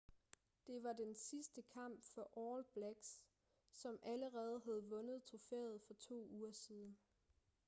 det var den sidste kamp for all blacks som allerede havde vundet trofæet for to uger siden